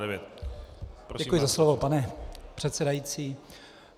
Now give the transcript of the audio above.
Děkuji za slovo, pane předsedající.